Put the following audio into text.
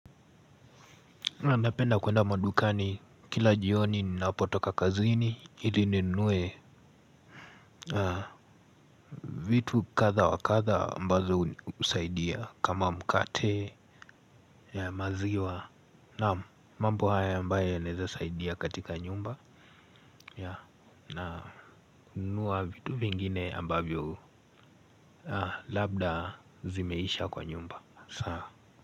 Ninapenda kwenda madukani kila jioni ni napotoka kazini ilininunue vitu kadha wa kadha ambazo husaidia kama mkate. Ya maziwa. Naam, mambo haya ambayo yanaweza saidia katika nyumba. Nunua vitu vingine ambavyo, labda zimeisha kwa nyumba saa.